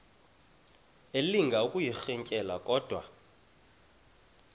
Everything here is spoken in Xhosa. elinga ukuyirintyela kodwa